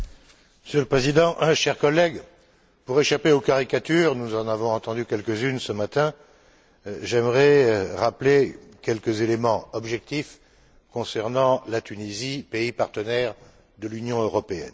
Monsieur le Président, chers collègues, pour échapper aux caricatures nous en avons entendues quelques unes ce matin j'aimerais rappeler quelques éléments objectifs concernant la Tunisie, pays partenaire de l'Union européenne.